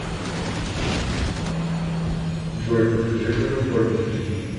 джой подскажи как оформить кредит